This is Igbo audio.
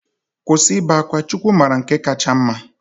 Kwụsị ibe akwa, Chukwu mara nke kacha mma.